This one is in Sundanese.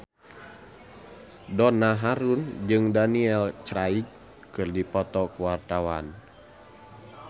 Donna Harun jeung Daniel Craig keur dipoto ku wartawan